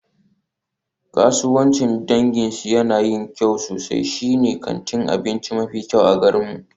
Kasuwancin danginsu yana yin kyau sosai, shine kantin abinci mafi kyau a garinmu.